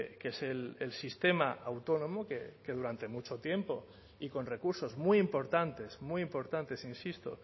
que es el sistema autónomo que durante mucho tiempo y con recursos muy importantes muy importantes insisto